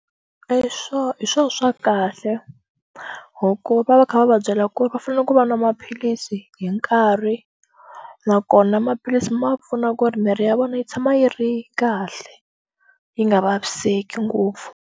swo hi swo swa kahle hi ku va va kha va va byela ku ri va fanele ku va nwa maphilisi hi nkarhi nakona maphilisi ma pfuna ku ri miri ya vona yi tshama yi ri kahle yi nga vaviseki ngopfu.